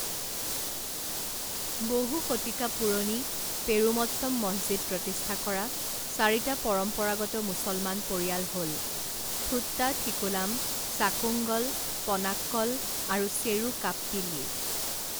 বহু শতিকা পুৰণি পেৰুমত্তম মছজিদ প্ৰতিষ্ঠা কৰা চাৰিটা পৰম্পৰাগত মুছলমান পৰিয়াল হ'ল থোট্টাথিকুলাম, চাকুংগল, পনাক্কল আৰু চেৰুকাপ্পিল্লী।